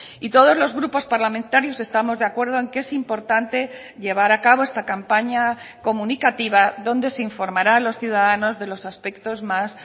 y todos los grupos parlamentarios estamos de acuerdo en que es importante llevar a cabo esta campaña comunicativa donde se informará a los ciudadanos de los aspectos más